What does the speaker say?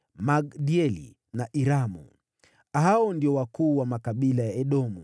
Magdieli na Iramu. Hao ndio wakuu wa makabila ya Edomu.